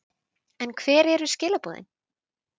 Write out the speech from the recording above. En hver eru skilaboðin?